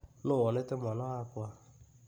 Nũ wonete mwana wakwa.